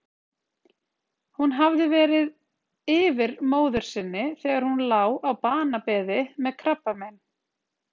Hún hafði verið yfir móður sinni þegar hún lá á banabeði með krabbamein.